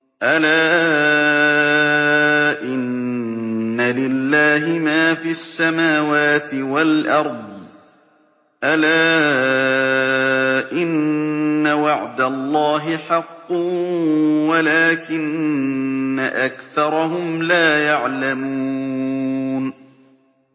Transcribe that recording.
أَلَا إِنَّ لِلَّهِ مَا فِي السَّمَاوَاتِ وَالْأَرْضِ ۗ أَلَا إِنَّ وَعْدَ اللَّهِ حَقٌّ وَلَٰكِنَّ أَكْثَرَهُمْ لَا يَعْلَمُونَ